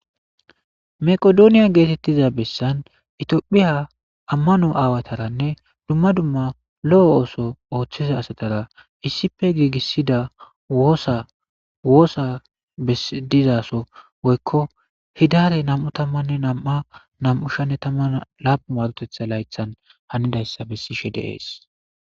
Meqdoniya geetiza bessan Itophphiya ammano aawatarane dumma dumma lo'o ooso ooththiza asatara issipe giigisida woosa bessi dizaaso woykko hidaare nam'u tammanne nam'a nam'u sha'anne tamman laappun maarotetha layththan hanidayssa bessishe de'es.